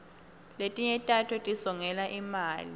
letinye tato tisongela imali